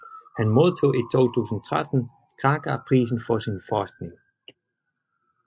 Han modtog i 2013 Kraka Prisen for sin forskning